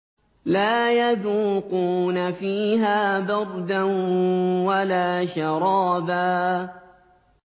لَّا يَذُوقُونَ فِيهَا بَرْدًا وَلَا شَرَابًا